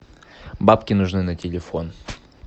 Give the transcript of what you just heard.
бабки нужны на телефон